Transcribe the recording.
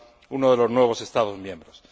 uno de los nuevos Estados miembros.